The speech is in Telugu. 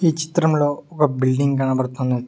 ఈ చిత్రంలో ఒక బిల్డింగ్ కనపడుతున్నది.